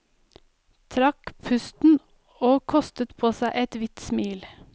Trakk pusten og kostet på seg et hvitt smil.